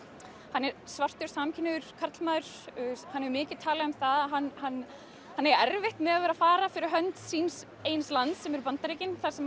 hann er svartur karlmaður hann hefur mikið talað um það að hann hann hann eigi erfitt með að vera að fara fyrir hönd síns eigin lands sem eru Bandaríkin þar sem